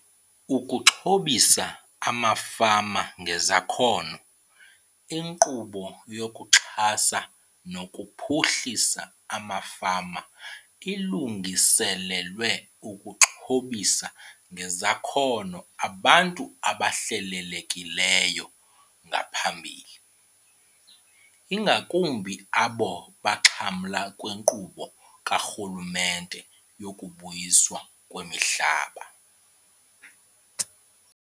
Ukuxhobisa Amafama Ngezakhono. INkqubo yokuXhasa nokuPhuhlisa amaFama ilungiselelwe ukuxhobisa ngezakhono abantu ababehlelelekile ngaphambili, ingakumbi abo baxhamla kwinkqubo karhulumente yokuBuyiswa kwemiHlaba.